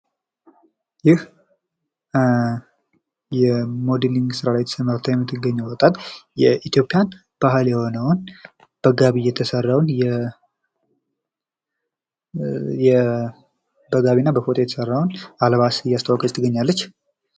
ይህ የሞዴሊግ ስራ ላይ ተሰማርታ የምትገኘው ወጣት የኢትዮጵያን ባህል የሆነውን በጋቢና በፎጣ የተሰራውን አልባሳት እያስተዋወቀች ትገኛለች።